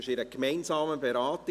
Sie werden gemeinsam beraten.